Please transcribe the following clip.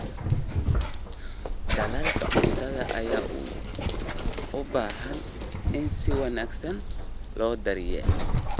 Dalagga cuntada ayaa u baahan in si wanaagsan loo daryeelo.